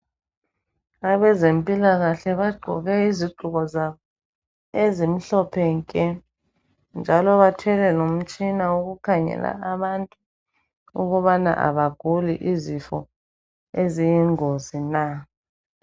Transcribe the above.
Abezempilakahle bagqoke izigqoko zabo ezimhlophe nke njalo bathwele lomtshina wokukhangela abantu ukubana abaguli izifo eziyingozi na.